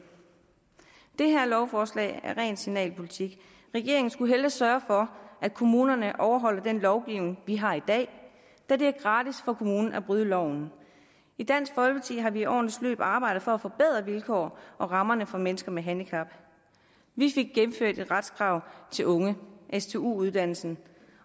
det her forslag er ren signalpolitik regeringen skulle hellere sørge for at kommunerne overholder den lovgivning vi har i dag da det er gratis for kommunen at bryde loven i dansk folkeparti har vi i årenes løb arbejdet for at forbedre vilkår og rammer for mennesker med handicap vi fik gennemført et retskrav til unge stu uddannelsen